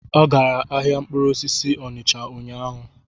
Ọ gara ahịa mkpụrụ osisi Onicha ụnyaahụ?